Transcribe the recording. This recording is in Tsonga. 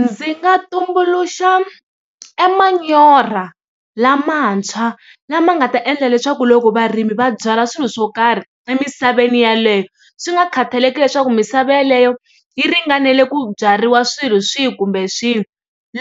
Ndzi nga tumbuluxa e manyoro lamantshwa lama nga ta endla leswaku loko varimi va byala swilo swo karhi emisaveni yeleyo swi nga khataleki leswaku misava yeleyo yi ringanele ku byariwa swilo swihi kumbe swihi